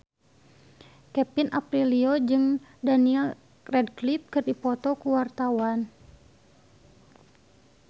Kevin Aprilio jeung Daniel Radcliffe keur dipoto ku wartawan